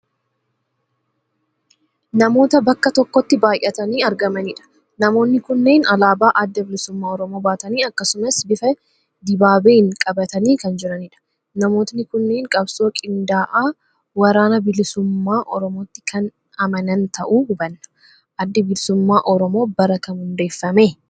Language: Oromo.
Namoota bakka tokkotti baay'atanii argamanidha. Namoonni kunneen alaabaa Adda Bilisummaa Oromoo baatanii akkasumas bifa dibaabeen qabatanii kan jiranidha. Namootni kunneen qabsoo qindaa'aa waraana bilisummaa Oromootti kan amanan ta'uu hubanna. Addi Bilisummaa Oromoo bara kam hundeeffame?